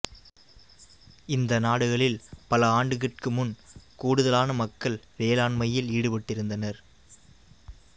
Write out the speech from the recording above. இந்த நாடுகளில் பல ஆண்டுகட்கு முன் கூடுதலான மக்கள் வேளாண்மையில் ஈடுபட்டிருந்தனர்